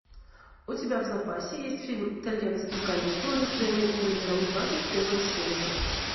у тебя в запасе есть фильм итальянские каникулы с джейми оливером двадцать первая серия